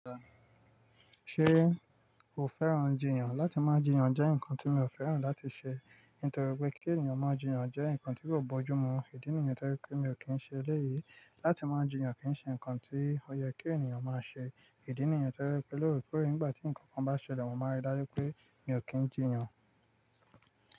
Ṣé o fẹ́ràn jiyàn? Láti máa jiyàn jẹ́ ǹkan tí mi ò fẹ́ràn láti ṣe, nítorí pé kí ènìyàn máa jiyàn jẹ́ ǹkan tí ò bójú mu. Ìdí nìyẹn to je pé mi ò kí ń ṣe eléyìí. Láti máa jiyàn kì í ṣe ǹkan tí ó yẹ kí ènìyàn máa ṣe. Ìdí nìyẹn to je pé lóorekore nígbà tí ǹkan kan bá ṣẹlẹ̀, mo máa rí dájú pé mi ò kí ń jiyàn.